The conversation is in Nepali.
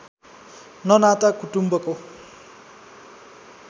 न नाता कुटुम्बको